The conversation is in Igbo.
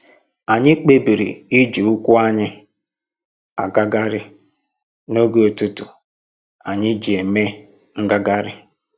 Anyị kpebiri iji ụkwụ anyị agagharị n'oge ụtụtụ anyị ji eme ngagharị